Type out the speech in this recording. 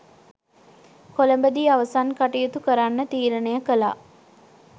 කොළඹදී අවසන් කටයුතු කරන්න තීරණය කළා.